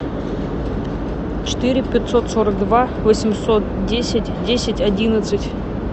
четыре пятьсот сорок два восемьсот десять десять одиннадцать